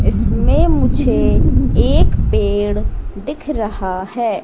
इसमें मुझे एक पेड़ दिख रहा हैं।